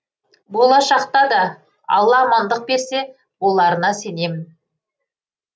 болашақта да алла амандық берсе боларына сенемін